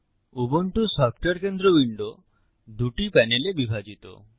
Ubuntu software কেন্দ্র window দুটি প্যানেলে বিভাজিত